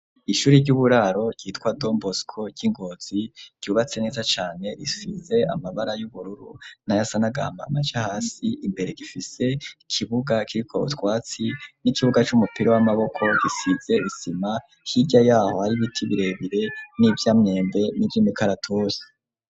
Ishure ry'uburaro ryitwa Don Bosco ry'ingozi ryubatse neza cane risize amabara y'ubururu nayasa n'agahama mace hasi imbere gifise ikibuga kiriko utwatsi n'ikibuga c'umupira w'amaboko gisize isima hirya yaho hari ibiti birebire n'ivyamwembe n'irimikaratuse.